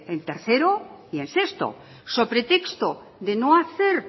en tercero y en sexto so pretexto de no hacer